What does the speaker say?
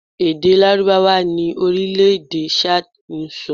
Èdè Lárúbáwá ni orílẹ̀ èdè Chad ń sọ